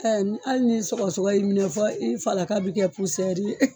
Ɛɛ hali ni sɔgɔsɔgɔ y'i minɛ fɔ i falaka bi kɛ